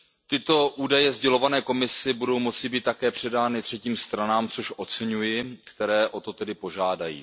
Tyto údaje sdělované Komisi budou moci být také předány třetím stranám, což oceňuji, které o to tedy požádají.